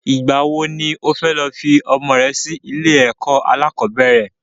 Ìgbà wo ni o fẹ́ lọ fi ọmọ rẹ sí ilé ẹ̀kọ́ alákọ̀bẹ́rẹ̀?